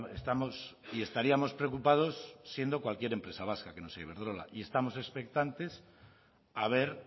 estamos y estaríamos preocupados siendo cualquier empresa vasca que no sea iberdrola y estamos expectantes a ver